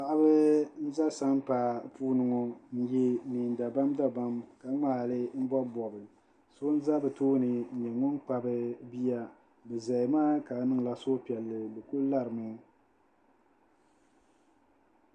Paɣiba n-za sampaa puuni ŋɔ n-ye neendabamdabam ka ŋmaali m-bɔbibɔbi so n-za bɛ tooni n-nyɛ ŋun kpabi bia bɛ zaya maa ka niŋla suhupiɛlli bɛ kuli larimi